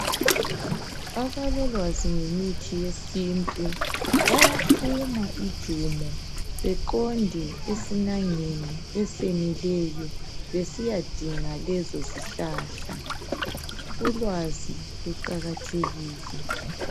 Abalolwazi ngemithi yesintu bayaphuma ijumo beqonde esinangeni esenileyo besiyadinga lezozihlahla. Ulwazi luqakathekile.